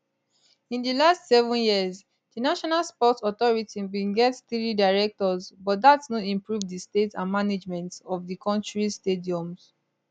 in di last seven years di national sports authority bin get three directors but dat no improve di state and management of di kontris stadiums